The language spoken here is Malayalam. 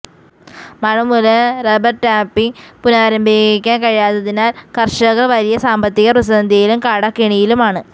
മഴമൂലം റബര് ടാപ്പിംഗ് പുനരാംരംഭിക്കാന് കഴിയാത്തതിനാല് കര്ഷകര് വലിയ സാമ്പത്തിക പ്രതിസന്ധിയിലും കടക്കെണിയിലുമാണ്